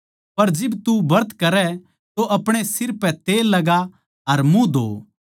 पर जिब तू ब्रत करै तो अपणे सिर पे तेल लगा अर मुँह धो